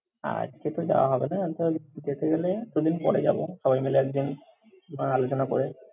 আজকে তো যাওয়া হবে না। ওই যেতে গেলে দু-দিন পড়ে যাব সবাই মিলে একদিন, নয় আলোচনা করে।